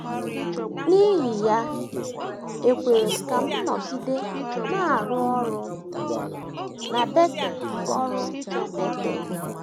N’ihi ya, e kwere ka m nọgide na - arụ ọrụ na Betel ọrụ na Betel.